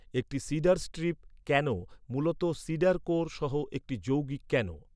একটি cedar strip canoe মূলত cedar core সহ একটি যৌগিক ক্যানো।